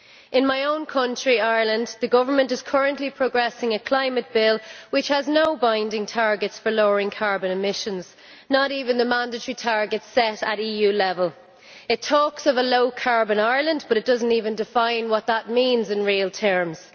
In my own country, Ireland, the government is currently progressing a climate bill which has no binding targets for lowering carbon emissions not even the mandatory targets set at EU level. It talks of a low-carbon Ireland, but it does not even define what that means in real terms.